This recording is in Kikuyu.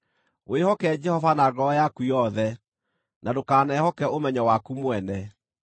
Wĩhoke Jehova na ngoro yaku yothe, na ndũkanehoke ũmenyo waku mwene;